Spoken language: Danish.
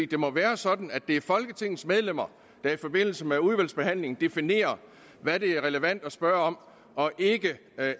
det må være sådan at det er folketingets medlemmer der i forbindelse med udvalgsbehandlingen definerer hvad det er relevant at spørge om og ikke